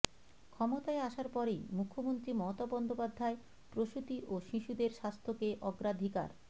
ক্ষমতায় আসার পরেই মুখ্যমন্ত্রী মমতা বন্দ্যোপাধ্যায় প্রসূতি ও শিশুদের স্বাস্থ্যকে অগ্রাধিকার